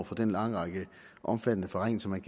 for den lange række af omfattende forringelser man